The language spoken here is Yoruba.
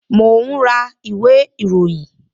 Mo ń ra ìwé ìròyìn